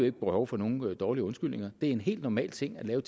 ikke behov for nogen dårlige undskyldninger det er en helt normal ting at lave